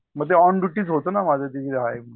मग ते ऑन डूटीच होतेना माझं ते आहे म्हणून